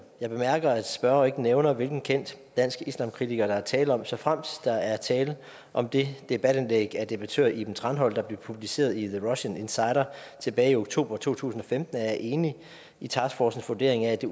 jeg bemærker at spørgeren ikke nævner hvilken kendt dansk islamkritiker der er tale om såfremt der er tale om det debatindlæg af debattør iben thranholm der blev publiceret i the russian insider tilbage i oktober to tusind og femten er jeg enig i taskforcens vurdering af